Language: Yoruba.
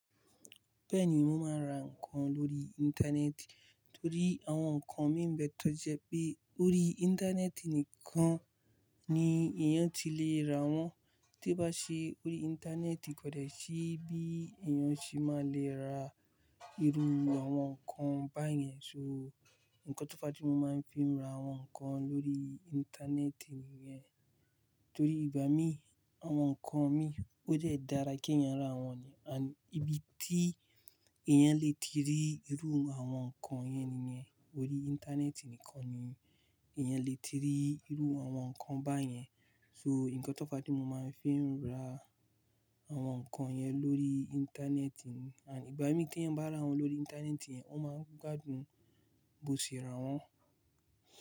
Bẹ́ẹ̀ni, mo máa ń ra ǹkan lórí Íńtánẹ́ẹ̀tì torí àwọn ǹkan mi ń bẹ tó jẹ pé orí Íńtánẹ́ẹ̀tì nìkan ni èèyàn tí lè ra wọ́n. Tí ó bá ṣe orí Íńtánẹ́ẹ̀tì kọ́dẹ̀ sí bí èèyàn ṣe máa lè ra irú àwọn ǹkan báyẹn. So, ǹkán tó fá ti mo máa ń fi ra àwọn ǹkan lórí Íńtánẹ́ẹ̀tì nìyẹn. Torí ìgbà mí, àwọn ǹkan mi ó dẹ́ dára kí èèyàn rà wọ́n ni, ànd ibi tí èèyàn lè ti rí irú àwọn ǹkan yẹn nìyẹn. Orí Íńtánẹ́ẹ̀tì nìkan ni èèyàn lè ti rí irú àwọn ǹkan báyẹn. So ǹkan tó fá ti mo máa ń fi rà àwọn ǹkan yẹn lórí Íńtánẹ́ẹ̀tì. And ìgbà mí tí èèyàn bá rà wọ́n lórí Íńtánẹ́ẹ̀tì yẹn, wọ́n máa ń gbádùn bó ṣe rà wọ́n.